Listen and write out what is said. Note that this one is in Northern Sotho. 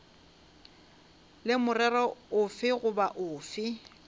le morero ofe goba ofe